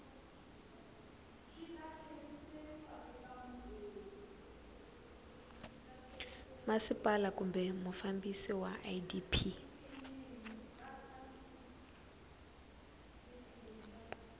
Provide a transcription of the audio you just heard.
masipala kumbe mufambisi wa idp